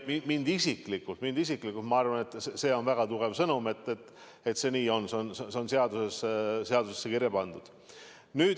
Isiklikult ma arvan, et see on väga tugev sõnum, et see nii on ja see on seadusesse kirja pandud.